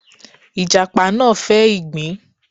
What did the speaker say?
Ìjàṕ náà fẹ́ ìgbín.